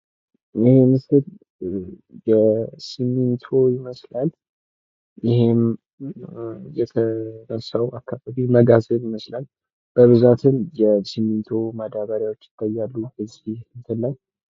ይሄ ምስል ሲሚንቶ ይመስላል። ይህም የተረሳው መጋዘን ይመስላል። በብዛትም የሲሚንቶ ማዳበሪያዎች ይታያሉ በዚህ እንትን ላይ ማለት ነው።